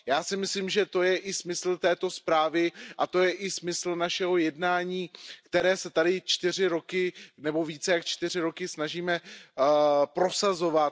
Já si myslím, že to je i smysl této zprávy a to je i smysl našeho jednání, které se tady čtyři roky nebo více než čtyři roky snažíme prosazovat.